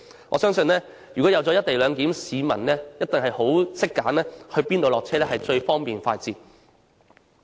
我相信如果實施"一地兩檢"，市民一定懂得選擇在哪裏下車是最方便快捷。